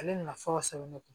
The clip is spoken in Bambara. Ale nafa sɛbɛn ne kun